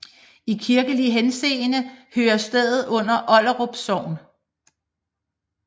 I kirkelig henseende hører stedet under Olderup Sogn